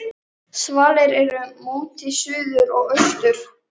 Og svo er okkur öllum hollt að vera, svaraði bóndinn.